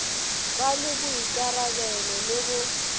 ba le boikarabelo le go